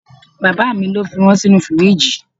Bàbá mi lo fi wọn sinu firiji.